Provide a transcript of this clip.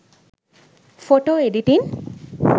photo editing